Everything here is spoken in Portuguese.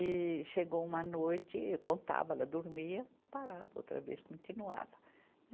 E chegou uma noite, eu contava, ela dormia, parava, outra vez continuava.